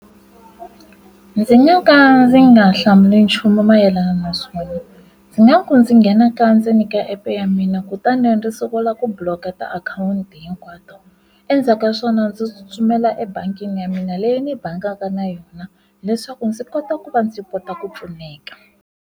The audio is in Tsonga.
Ndzi nga ka ndzi nga hlamuli nchumu mayelana naswona ndzi nga ku ndzi nghena ka ndzeni ka app ya mina kutani ndzi sungula ku block-a ti akhawunti hinkwato endzhaku ka swona ndzi tsutsumela ebangini ya mina leyi ni bangaka na yona leswaku ndzi kota ku va ndzi kota ku pfuneka.